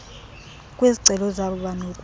kwizicelo zabo banokuthi